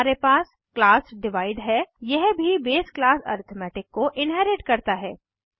फिर हमारे पास क्लास डिवाइड है यह भी बेस क्लास अरिथमेटिक को इन्हेरिट करता है